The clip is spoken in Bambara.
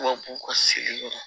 Tubabu ka sigili yɔrɔ la